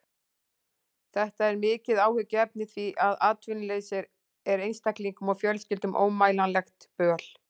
Þetta er mikið áhyggjuefni því að atvinnuleysi er einstaklingum og fjölskyldum ómælanlegt böl.